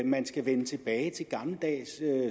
man skal vende tilbage til gammeldags